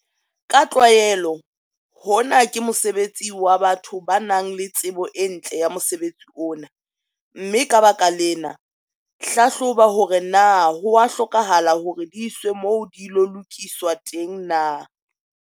Ka tlwaelo hona ke mosebetsi wa batho ba nang le tsebo e ntle ya mosebetsi ona, mme ka baka lena, hlahloba hore na ho a hlokahala hore di iswe moo di ilo lokiswa teng na.